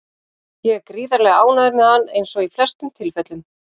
Ég er gríðarlega ánægður með hann eins og í flestum tilfellum.